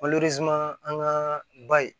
an ŋaa ba ye